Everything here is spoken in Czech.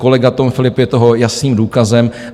Kolega Tom Philipp je toho jasným důkazem.